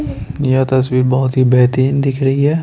यह तस्वीर बहुत ही बेहतरीन दिख रही है।